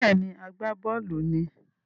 Bẹ́ẹ̀ni, agbábọ́ọ̀lù ni